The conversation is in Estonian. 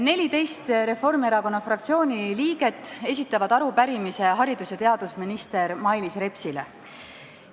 14 Reformierakonna fraktsiooni liiget esitavad arupärimise haridus- ja teadusminister Mailis Repsile.